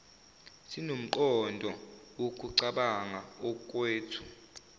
sinomqondo wokucabanga okwethu